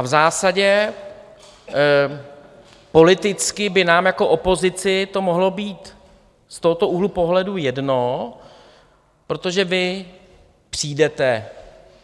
A v zásadě politicky by nám jako opozici to mohlo být z tohoto úhlu pohledu jedno, protože vy přijdete